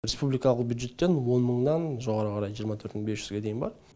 республикалық бюджеттен он мыңнан жоғары қарай жиырма төрт мың бес жүзге дейін бар